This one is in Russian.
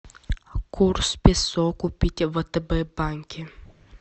курс песо купить в втб банке